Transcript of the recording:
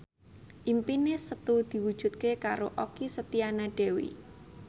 impine Setu diwujudke karo Okky Setiana Dewi